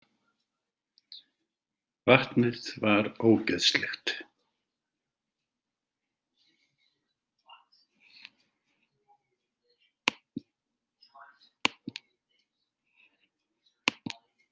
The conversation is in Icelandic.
Vatnið var ógeðslegt.